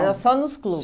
era só nos clubes.